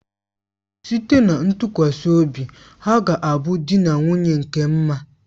Site na ntụkwasị obi ha ga a bụ di na nwunye nke mma